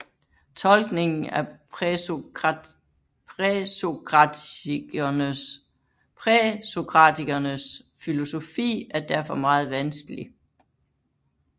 Tolkningen af præsokratikernes filosofi er derfor meget vanskelig